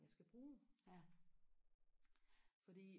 jeg skal bruge fordi